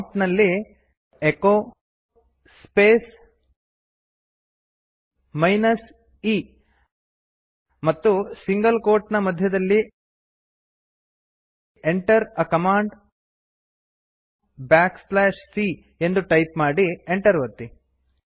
ಪ್ರಾಂಪ್ಟಿನಲ್ಲಿ echo space minus e ಮತ್ತು single quote ನ ಮಧ್ಯದಲ್ಲಿ Enter a ಕಮಾಂಡ್ c ಎಂದು ಟೈಪ್ ಮಾಡಿ ಎಂಟರ್ ಒತ್ತಿ